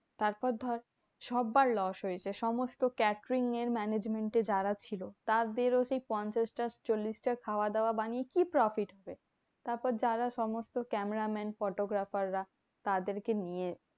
তারপর ধর, সব্বার loss হয়েছে সমস্ত catering এর management এ যারা ছিল তাদেরও সেই পঞ্চাশটা চল্লিশটা খাওয়া দাওয়া বানিয়ে কি profit হবে? তারপর যারা সমস্ত cameraman photographer রা তাদেরকে নিয়ে